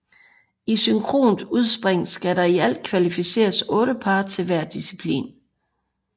I synkront udspring skal der i alt kvalificeres 8 par til hver disciplin